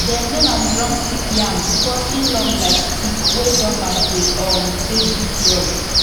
dem name am drumstick yam because e long like stick wey drummers dey um take beat drum